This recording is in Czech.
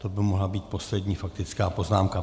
To by mohla být poslední faktická poznámka.